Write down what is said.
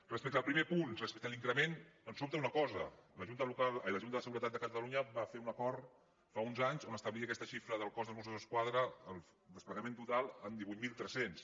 respecte al primer punt respecte a l’increment ens sobta una cosa la junta de seguretat de catalunya va fer un acord fa uns anys on establia aquesta xifra del cos dels mossos d’esquadra el desplegament total en divuit mil tres cents